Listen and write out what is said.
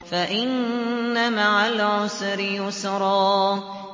فَإِنَّ مَعَ الْعُسْرِ يُسْرًا